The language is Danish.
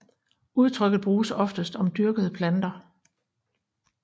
Udtrykket bruges oftest om dyrkede planter